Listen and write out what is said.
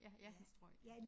Ja ja et strøg